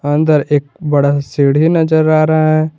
अंदर एक बड़ा सा सीढ़ी नजर आ रहा है।